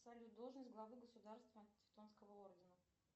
салют должность главы государства тевтонского ордена